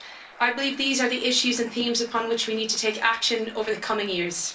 I believe these are the issues and themes on which we need to take action over the coming years.